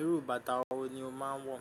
Irú bàtà wo ni o máa ń wọ̀?